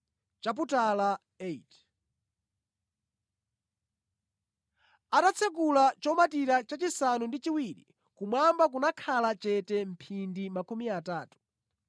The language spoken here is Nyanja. Atatsekula chomatira chachisanu ndi chiwiri, kumwamba kunakhala chete mphindi makumi atatu.